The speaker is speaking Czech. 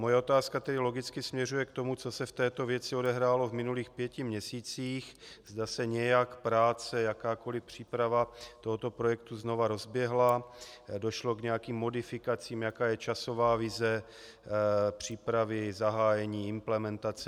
Moje otázka tedy logicky směřuje k tomu, co se v této věci odehrálo v minulých pěti měsících, zda se nějak práce, jakákoliv příprava tohoto projektu znovu rozběhla, došlo k nějakým modifikacím, jaká je časová vize přípravy, zahájení, implementace.